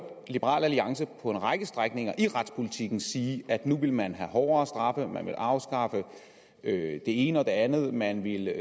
liberal alliance på en række strækninger i retspolitikken sige at nu ville man have hårdere straffe man ville afskaffe det ene og det andet man ville